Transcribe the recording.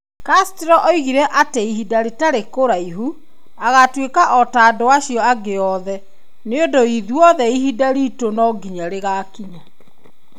Castro oigire atĩ Ihinda rĩtarĩ kũraihu, agatuĩka o ta andũ acio angĩ othe. Nĩ ũndũ "ithuothe, ihinda riitũ nongiya rĩgakinya".